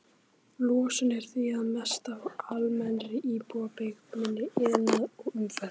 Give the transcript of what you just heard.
Losun er því að mestu frá almennri íbúabyggð, minni iðnaði og umferð.